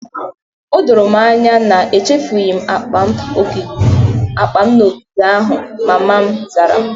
O doro m anya na echefughị m akpa m n'ogige ahụ, mama m zara